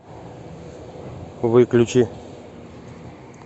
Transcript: выключи